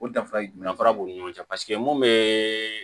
O danfara b'u ni ɲɔgɔn cɛ paseke mun bɛ